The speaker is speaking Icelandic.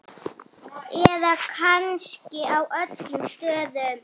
Eða kannski á öllum stöðum?